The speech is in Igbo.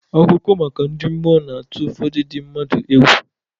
Akụkọ maka ndị mmụọ na-atụ ụfọdụ ndị mmadu egwu.